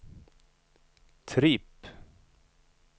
tripp